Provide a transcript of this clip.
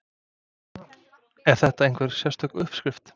Er þetta einhver sérstök uppskrift?